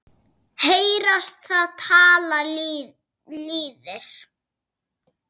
Heyrast það tala lýðir.